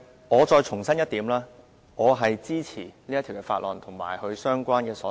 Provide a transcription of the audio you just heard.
我重申一點，我支持《條例草案》及所有相關修正案。